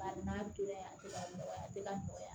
Bari n'a tolan tɛ ka nɔgɔya a tɛ ka nɔgɔya